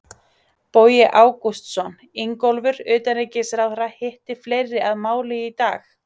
Bogi Ágústsson: Ingólfur, utanríkisráðherra hitti fleiri að máli í dag?